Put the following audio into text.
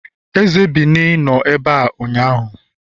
eze Benin nọ ebea ụnyahụ